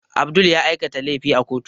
Abdul ya aikata laifi a kotu